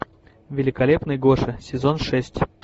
великолепный гоша сезон шесть